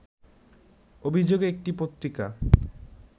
অভিযোগে একটি পত্রিকা